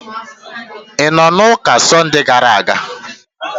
Ị nọ n'ụka Sọnde gara aga?